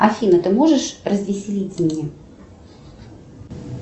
афина ты можешь развеселить меня